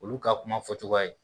Olu ka kuma fɔcogoya ye